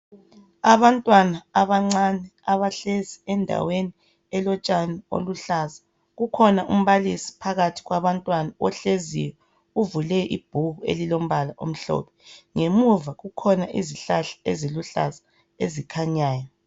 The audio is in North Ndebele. Abantwana abancane abahlezi endaweni elotshani oluhlaza. Kukhona umbalisi phakathi kwabantwana ohleziyo uvule ibhuku elilombala omhlophe. Ngemuva kukhona izihlahla eziluhlaza ezikhanyayo.